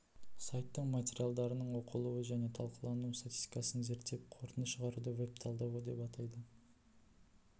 сайттың материалдарының оқылу және талқылану статистикасын зерттеп қорытынды шығаруды веб-талдау деп атайды